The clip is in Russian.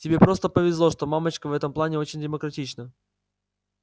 тебе просто повезло что мамочка в этом плане очень демократична